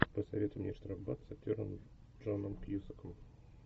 посоветуй мне штрафбат с актером джоном кьюсаком